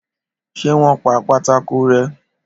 Ṣé wọn pa pátákó rẹ́?